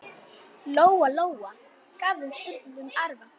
Lóa-Lóa gaf þeim stundum arfa.